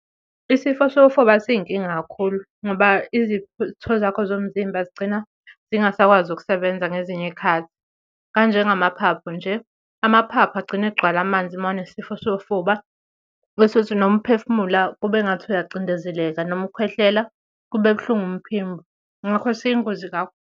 Isifo sofuba siyinkinga kakhulu ngoba izitho zakho zomzimba zigcina zingasakwazi ukusebenza ngezinye iy'khathi. Kanjengamaphaphu nje, amaphaphu agcine egcwala amanzi mawunesifo sofuba, bese uthi noma uphefumula kube ngathi uyacindezeleka, noma ukhwehlela kube buhlungu umphimbo. Ngakho siyingozi kakhulu.